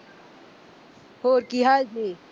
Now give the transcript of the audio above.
ਹੋਰ ਕੀ ਹਾਲ ਜੇ।